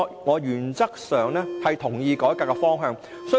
我原則上同意改革的方向。